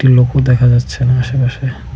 লোকও দেখা যাচ্ছে না আশেপাশে।